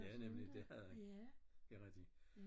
Ja nemlig det havde han det rigtigt